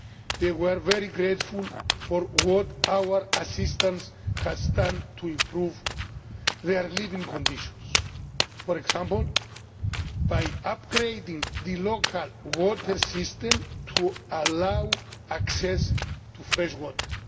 They were very grateful for what our assistance has done to improve their living conditions, for example by upgrading the local water system to allow access to fresh